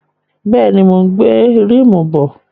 Bẹ́ẹ̀ni, mò ń gbé ríìmù bọ̀.